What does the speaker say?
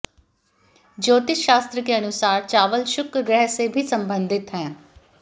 ज्योतिष शास्त्र के अनुसार चावल शुक्र ग्रह से भी संबंधित है